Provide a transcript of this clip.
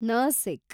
Nashik